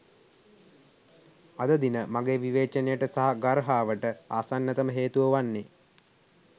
අද දින මගේ විවේචනයට සහ ගර්හාවට ආසන්නතම හේතුව වන්නේ